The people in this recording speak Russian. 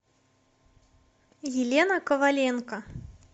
елена коваленко